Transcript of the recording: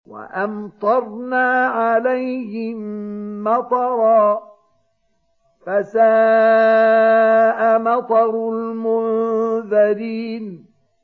وَأَمْطَرْنَا عَلَيْهِم مَّطَرًا ۖ فَسَاءَ مَطَرُ الْمُنذَرِينَ